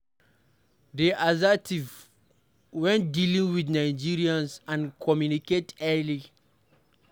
Dey assertive when dealing with Nigerians and communicate clearly